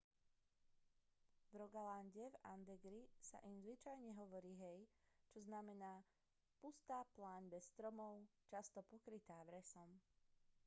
v rogalande a agderi sa im zvyčajne hovorí hei čo znamená pustá pláň bez stromov často pokrytá vresom